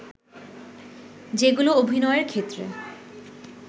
যেগুলো অভিনয়ের ক্ষেত্রে